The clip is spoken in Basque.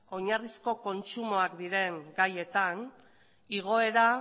oinarrizko kontsumoak diren gaietan igoera